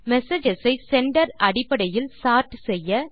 messages ஐ sender அடிப்படையில் sort செய்ய